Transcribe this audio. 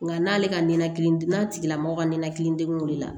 Nka n'ale ka ninakili n'a tigilamɔgɔ ka nɛnɛkili degun wulila